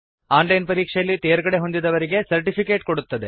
on line ಪರೀಕ್ಷೆಯಲ್ಲಿ ತೇರ್ಗಡೆಹೊಂದಿದವರಿಗೆ certificate ಕೊಡುತ್ತದೆ